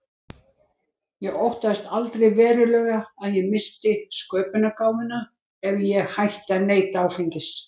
Ég óttaðist aldrei verulega að ég missti sköpunargáfuna ef ég hætti að neyta áfengis.